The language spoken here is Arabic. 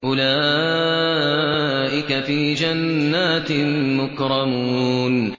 أُولَٰئِكَ فِي جَنَّاتٍ مُّكْرَمُونَ